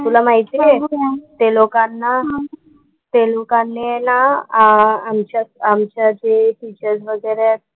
तुला माहिती आहे ते लोकांना ते लोकांनी आहे ना आमच्या आमच्या जे टीचर्स वगैरे आहेत,